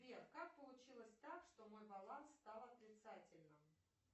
сбер как получилось так что мой баланс стал отрицательным